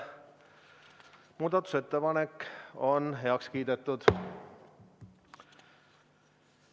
Muudatusettepanek on heaks kiidetud.